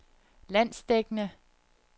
landsdækkende